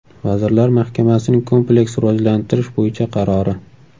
Vazirlar Mahkamasining kompleks rivojlantirish bo‘yicha qarori.